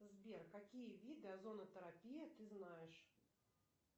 сбер какие виды озонотерапии ты знаешь